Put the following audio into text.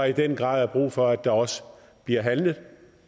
i den grad er brug for at der også bliver handlet